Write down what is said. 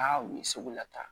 u ye sugu lata